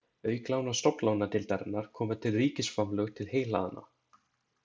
Auk lána Stofnlánadeildarinnar koma til ríkisframlög til heyhlaðna.